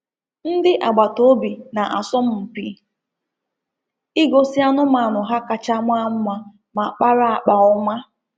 Ndi agbataobi na-asọmpi igosi anụmanụ ha kacha maa mma ma kpara akpa ọma.